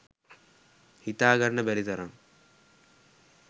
හිතාගන්න බැරි තරම්